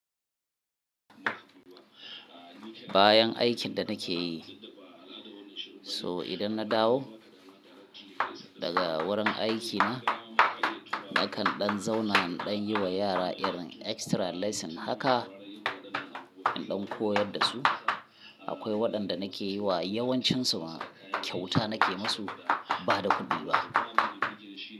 Bayan aikin da nake yi, so idan na dawo daga wurin aikina, nakan ɗan zauna nayi wa yara irin extra lesson haka, in ɗan koyar da su. Akwai waɗanda nake yi wa yawancinsu kyauta nake musu ba da kuɗi ba.